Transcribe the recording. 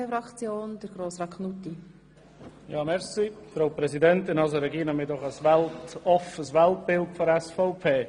Regina Fuhrer, wir haben doch ein offenes Weltbild bei der SVP!